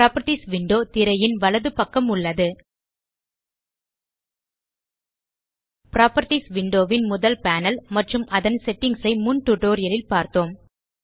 properties window திரையின் வலப்பக்கம் உள்ளது புராப்பர்ட்டீஸ் விண்டோ ன் முதல் பேனல் மற்றும் அதன் செட்டிங்ஸ் ஐ முன் டியூட்டோரியல் ல் பார்த்தோம்